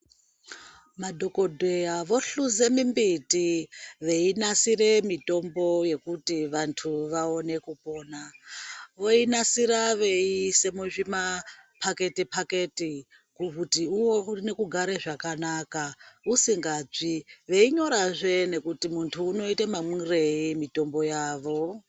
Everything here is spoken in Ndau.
Madhokodheya vohluze mimbiti veinasire mitombo yekuti vantu vaone kupona, voinasira veisa muzvi paketi-paketi kuti uone kugara zvakanaka usingatsvi veinyorazve kuti vantu vanoite mamwirei mitombo yavo.